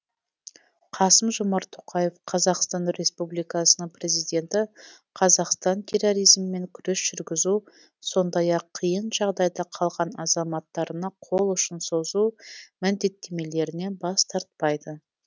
қасым жомарт тоқаев қазақстан республикасының президенті қазақстан терроризммен күрес жүргізу сондай ақ қиын жағдайда қалған азаматтарына қол ұшын созу міндеттемелерінен бас тартпайды